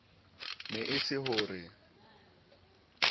ne e se ho re